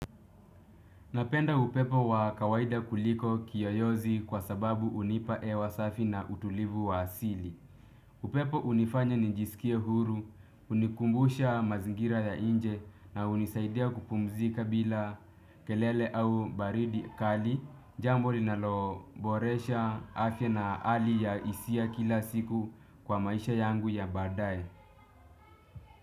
Napenda upepo wa kawaida kuliko kiyoyozi kwa sababu unipa ewa safi na utulivu wa asili. Upepo unifanya nijisikie huru, unikumbusha mazingira ya nje na unisaidia kupumzika bila kelele au baridi kali, jambo linaloboresha afya na ali ya isia kila siku kwa maisha yangu ya baadaye.